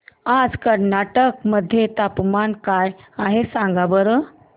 आज कर्नाटक मध्ये तापमान काय आहे सांगा बरं